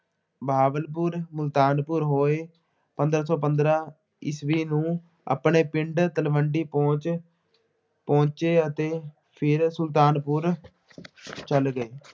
ਬਹਾਵਲਪੁਰ, ਮੁਲਤਾਨਪੁਰ ਹੋਏ, ਪੰਦਰਾਂ ਸੌ ਪੰਦਰਾ ਈਸਵੀ ਨੂੰ ਆਪਣੇ ਪਿੰਡ ਤਲਵੰਡੀ ਪਹੁੰਚ ਪਹੁੰਚੇ ਅਤੇ ਫੇਰ ਸੁਲਤਾਨਪੁਰ ਚੱਲ ਗਏ।